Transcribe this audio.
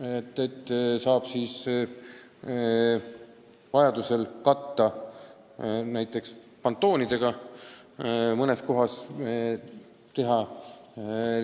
Mõned lõigud saab vajadusel katta näiteks pontoonidega, mõnes kohas saab teha